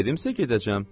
Dedimsə gedəcəm.